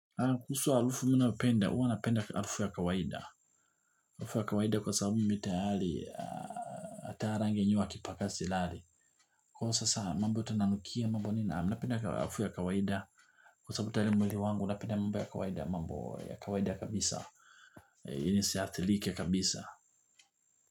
Kuhusu alufu mimi napenda, hua napenda halufu ya kawaida. Alufu ya kawaida kwa sababu mi tayali, ata rangi yenyewe wakipaka silali. Kwa sasa mambo tunanukia mambo nina, mi napenda alufu ya kawaida. Kwa sababu tayali mwili wangu, unapenda mambo ya kawaida, mambo ya kawaida kabisa. Ili nisiathilike kabisa.